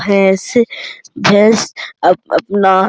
भैंस भैंस अप-अपना --